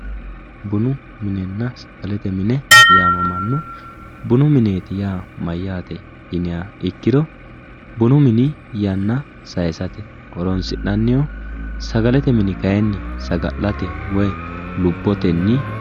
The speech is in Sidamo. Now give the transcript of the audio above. Bunu minenna sagalete mine yaamamano bunu mineti yaa mayate yinniha ikkiro bunu mini yanna saysate horonsi'nannihu sagalete mini kayinni saga'late woyi lubbotenni.